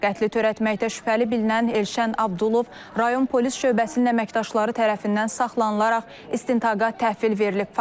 Qətli törətməkdə şübhəli bilinən Elşən Abdulov rayon polis şöbəsinin əməkdaşları tərəfindən saxlanılaraq istintaqa təhvil verilib.